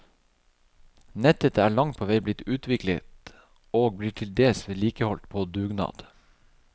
Nettet er langt på vei blitt utviklet, og blir til dels vedlikeholdt, på dugnad.